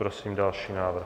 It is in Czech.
Prosím další návrh.